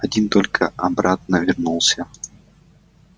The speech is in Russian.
один только обратно вернулся